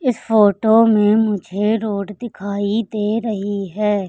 इस फोटो में मुझे रोड दिखाई दे रही है।